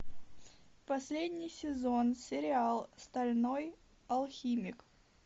последний сезон сериал стальной алхимик